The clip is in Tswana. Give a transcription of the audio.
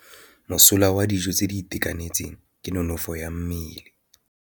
Mosola wa dijô tse di itekanetseng ke nonôfô ya mmele.